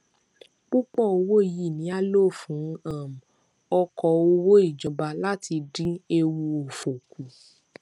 púpọ owó yìí ni a lò fún um oko òwò ìjọba láti dín ewu òfò kù